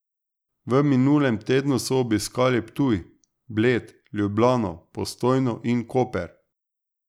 V minulem tednu so obiskali Ptuj, Bled, Ljubljano, Postojno in Koper.